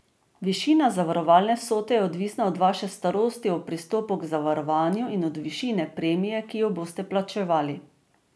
Višina zavarovalne vsote je odvisna od vaše starosti ob pristopu k zavarovanju in od višine premije, ki jo boste plačevali.